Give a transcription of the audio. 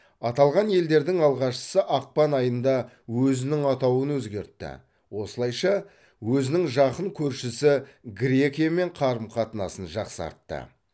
аталған елдердің алғашқысы ақпан айында өзінің атауын өзгертті осылайша өзінің жақын көршісі грекиямен қарым қатынасын жақсартты